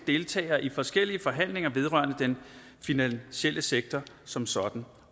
deltagere i forskellige forhandlinger vedrørende den finansielle sektor som sådan